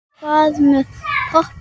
En hvað með poppið?